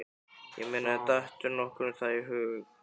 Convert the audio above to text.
Ég meina, dettur nokkrum það í hug?